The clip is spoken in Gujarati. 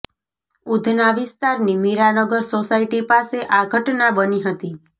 ઉધના વિસ્તારની મીરાનગર સોસાયટી પાસે આ ઘટના બની હતી